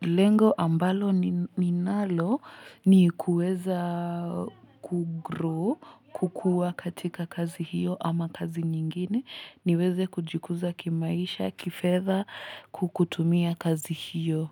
Lengo ambalo ninalo ni kuweza kugrow kukuwa katika kazi hiyo ama kazi nyingine niweze kujikuza kimaisha, kifedha kukutumia kazi hiyo.